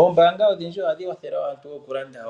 Oombaanga odhindji ohadhi kwathele aantu oku landa